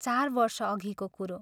चार वर्षअघिको कुरो।